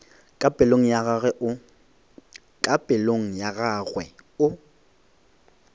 ka pelong ya gagwe o